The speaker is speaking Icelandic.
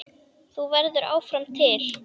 Þú verður áfram til.